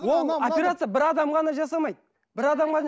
ол операция бір адам ғана жасамайды бір адам ғана